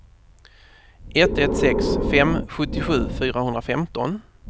ett ett sex fem sjuttiosju fyrahundrafemton